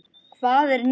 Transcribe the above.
Hvað er nýtt?